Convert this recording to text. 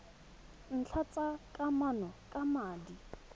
ntlha tsa kamano ka madi